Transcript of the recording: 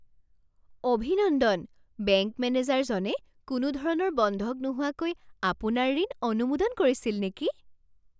অভিনন্দন! বেংক মেনেজাৰজনে কোনোধৰণৰ বন্ধক নোহোৱাকৈ আপোনাৰ ঋণ অনুমোদন কৰিছিল নেকি?